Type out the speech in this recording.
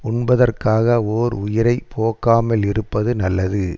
உண்பதற்காக ஓர் உயிரை போக்காமலிருப்பது நல்லது